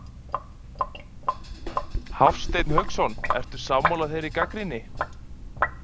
Hafsteinn Hauksson: Ertu sammála þeirri gagnrýni?